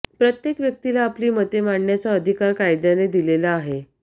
प्रत्येक व्यक्तीला आपली मते मांडण्याचा अधिकार कायद्याने दिलेला आहे